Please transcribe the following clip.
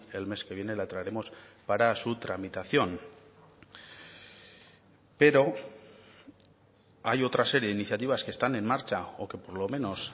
el mes que viene la traeremos para su tramitación pero hay otra serie de iniciativas que están en marcha o que por lo menos